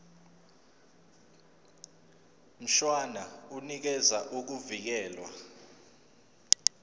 mshwana unikeza ukuvikelwa